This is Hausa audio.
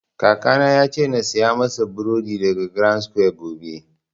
Kaka na ya ce na saya masa buredi daga grandsquare gobe